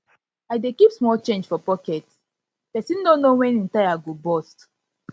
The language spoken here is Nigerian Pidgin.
i dey keep small change for pocket pocket pesin no know wen im tire go burst